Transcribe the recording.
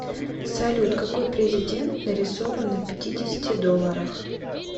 салют какой президент нарисован на пятидесяти долларах